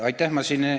Aitäh!